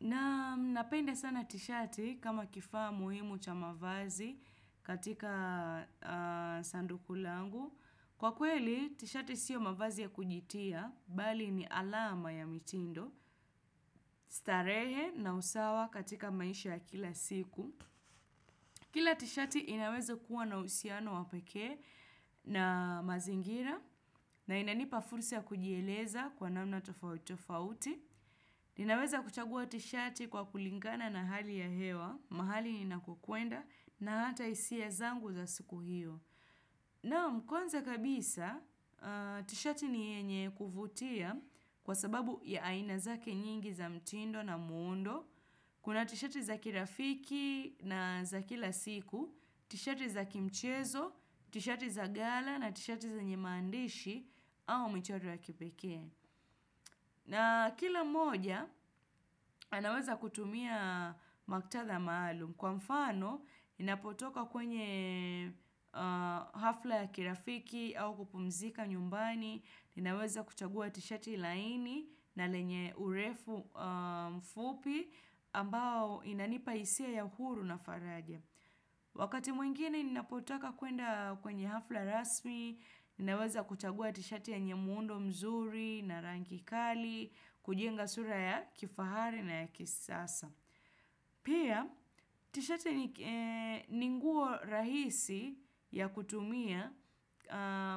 Naam, napende sana tishati kama kifaa muhimu cha mavazi katika sanduku langu. Kwa kweli, tishati siyo mavazi ya kujitia, bali ni alama ya mitindo, starehe na usawa katika maisha kila siku. Kila tishati inaweza kuwa na uhusiano wa pekee na mazingira na inanipa fursa ya kujieleza kwa namna tofauti tofauti. Ninaweza kuchagua tishati kwa kulingana na hali ya hewa, mahali ninakokuenda na hata hisia zangu za siku hiyo. Naam, kwanza kabisa, tishati ni yenye kuvutia kwa sababu ya aina zake nyingi za mtindo na muundo, kuna tishati za kirafiki na za kila siku, tishati za kimchezo, tishati za gala na tishati zenye maandishi au mchoro ya kipekee. Na kila mmoja, anaweza kutumia maktatha maalum. Kwa mfano, ninapotoka kwenye hafla ya kirafiki au kupumzika nyumbani, ninaweza kuchagua tishati laini na lenye urefu mfupi ambao inanipa hisia ya huru na faraja. Wakati mwingine ninapotaka kuenda kwenye hafla rasmi, ninaweza kuchagua tishati yenye muundo mzuri na rangi kali, kujenga sura ya kifahari na ya kisasa. Pia, tishati ni ni nguo rahisi ya kutumia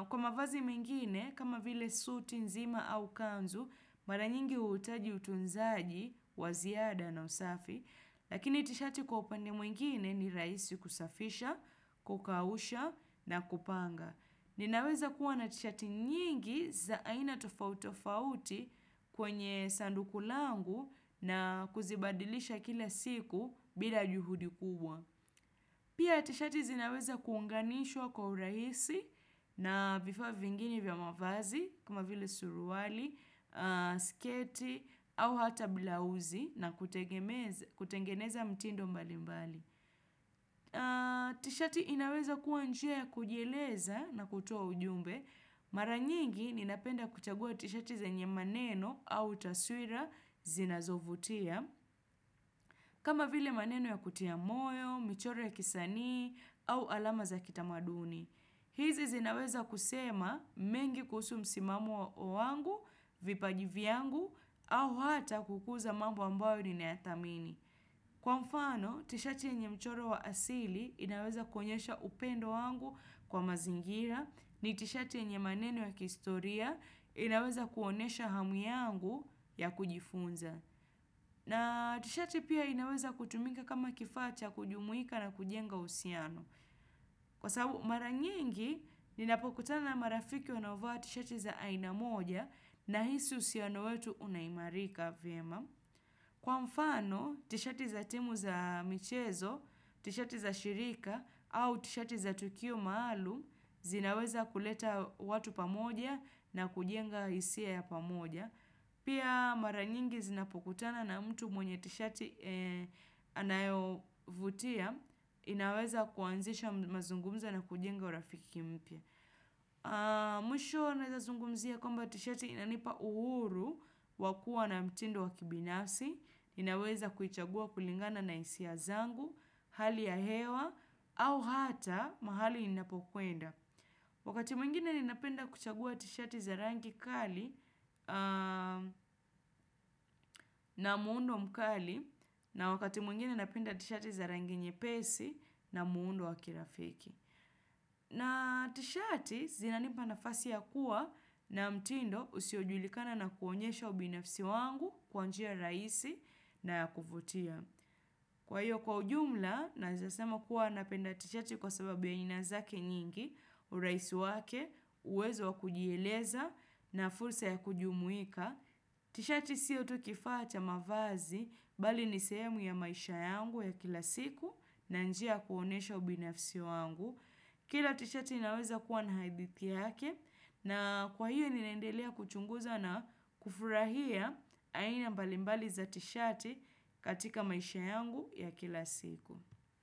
kwa mavazi mengine kama vile suti nzima au kanzu, mara nyingi uhitaji utunzaji, wa ziada na usafi, lakini tishati kwa upande mwingine ni rahisi kusafisha, kukausha na kupanga. Ninaweza kuwa na tishati nyingi za aina tofauti tofauti kwenye sanduku langu na kuzibadilisha kila siku bila juhudi kubwa. Pia tishati zinaweza kuunganishwa kwa urahisi na vifaa vingine vya mavazi kama vile suruali, sketi au hata bila uzi na kutengeneza mtindo mbalimbali. Tishati inaweza kuwa njia ya kujieleza na kutoa ujumbe, mara nyingi ninapenda kuchagua tishati zenye maneno au taswira zinazovutia, kama vile maneno ya kutia moyo, michoro ya kisanii au alama za kitamaduni. Hizi zinaweza kusema mengi kuhusu msimamo wangu, vipaji vyangu, au hata kukuza mambo ambayo ninayathamini. Kwa mfano, tishati yenye mchoro wa asili inaweza kuonyesha upendo wangu kwa mazingira, ni tishati yenye maneno wa kihistoria inaweza kuonyesha hamu yangu ya kujifunza. Na tishati pia inaweza kutumika kama kifaa cha kujumuika na kujenga uhusiano. Kwa sababu mara nyingi, ninapokutana na marafiki wanaovaa tishati za aina moja nahisi uhusiano wetu unaimarika vyema. Kwa mfano, tishati za timu za michezo, tishati za shirika au tishati za tukio maalum, zinaweza kuleta watu pamoja na kujenga hisia ya pamoja. Pia mara nyingi zinapokutana na mtu mwenye tishati anayovutia, inaweza kuanzisha mazungumzo na kujenga urafiki mpya. Mwisho naweza zungumzia kwamba tishati inanipa uhuru wa kuwa na mtindo wa kibinafsi, ninaweza kuichagua kulingana na hisia zangu, hali ya hewa, au hata mahali ninapokuenda. Wakati mwingine ninapenda kuchagua tishati za rangi kali na muundo mkali na wakati mwingine napenda tishati za rangi nyepesi na muundo wa kirafiki. Na tishati zinanipa nafasi ya kuwa na mtindo usiojulikana na kuonyesha ubinafsi wangu kwa njia rahisi na ya kuvutia. Kwa hiyo kwa ujumla, nawezasema kuwa napenda tishati kwa sababu ya aina zake nyingi, urahisi wake, uwezo wa kujieleza na fursa ya kujumuika. Tishati siyo tu kifaa cha mavazi, bali ni sehemu ya maisha yangu ya kila siku na njia ya kuonyesha ubinafsi wangu. Kila tishati inaweza kuwa na hadithi yake na kwa hiyo ninaendelea kuchunguza na kufurahia aina mbalimbali za tishati katika maisha yangu ya kila siku.